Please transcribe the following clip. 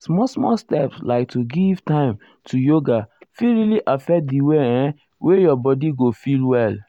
small small step like to give time to yoga fit really affect the way[um]wey your body go feel well.